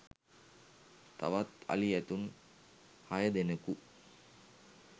තවත් අලි – ඇතුන් හය දෙනකු